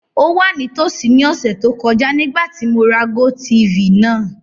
O wa nitosi ni ọsẹ to kọja nigbati mo ra GoTv naa.